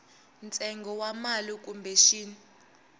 ntsengo wa mali kumbe xin